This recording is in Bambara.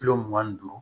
Kilo mugan ni duuru